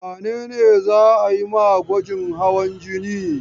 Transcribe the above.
Wane ne za a yi ma gwajin hawan jini?